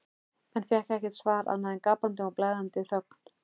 en fékk ekkert svar annað en gapandi og blæðandi þögn.